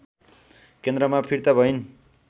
केन्द्रमा फिर्ता भइन्